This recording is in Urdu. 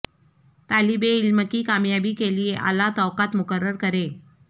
طالب علم کی کامیابی کے لئے اعلی توقعات مقرر کریں